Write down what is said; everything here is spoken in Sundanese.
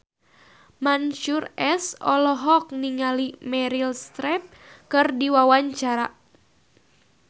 Mansyur S olohok ningali Meryl Streep keur diwawancara